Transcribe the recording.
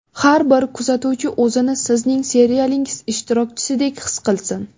Har bir kuzatuvchi o‘zini sizning serialingiz ishtirokchisidek his qilsin.